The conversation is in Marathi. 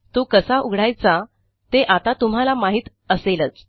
तो कसा उघडायचा ते आता तुम्हाला माहित असेलच